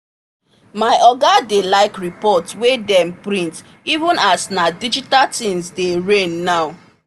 my oga dey like report wey dem print even as na digital thing dey reign now